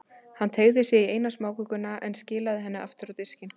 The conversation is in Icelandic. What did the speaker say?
Hann teygði sig í eina smákökuna, en skilaði henni aftur á diskinn.